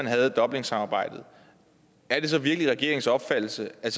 have dublinsamarbejdet er det så virkelig regeringens opfattelse at